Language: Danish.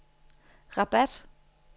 Rabat